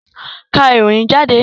Ká ìròyìn jáde!